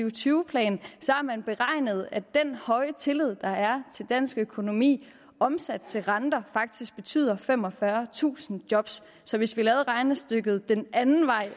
og tyve plan har man beregnet at den høje tillid der er til dansk økonomi omsat til renter faktisk betyder femogfyrretusind job så så hvis vi lavede regnestykket den anden vej